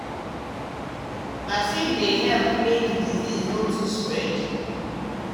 vaccine dey help make disease no too spread.